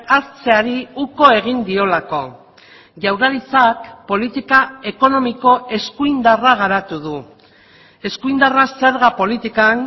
hartzeari uko egin diolako jaurlaritzak politika ekonomiko eskuindarra garatu du eskuindarra zerga politikan